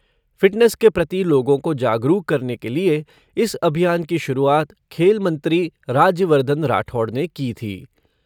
Fitness के प्रति लोगों को जागरूक करने के लिए इस अभियान की शुरुआत खेल मंत्री राज्यवर्धन राठौड़ ने की थी।